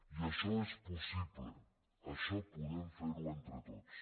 i això és possible això podem fer ho entre tots